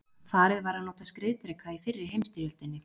farið var að nota skriðdreka í fyrri heimsstyrjöldinni